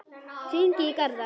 Hringi í Garðar.